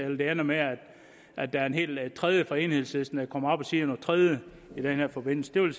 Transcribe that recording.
ender med at der er en helt tredje fra enhedslisten der kommer op og siger noget tredje i den her forbindelse det vil